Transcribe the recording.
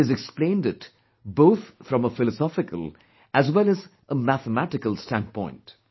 And he has explained it both from a philosophical as well as a mathematical standpoint